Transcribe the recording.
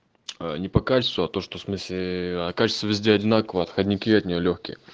не по качествуа то что смысле а качество везде одинаково отходняки от нее лёгкие